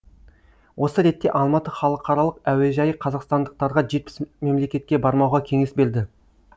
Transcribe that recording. осы ретте алматы халықаралық әуежайы қазақстандықтарға жетпіс мемлекетке бармауға кеңес берді